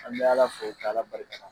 An bɛ Ala fo k'Ala barika da.